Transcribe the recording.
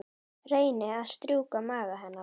Reyni að strjúka maga hennar.